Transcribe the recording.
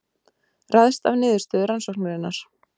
Ræðst af niðurstöðu rannsóknarinnar